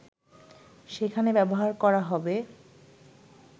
সেখানে ব্যবহার করা হবে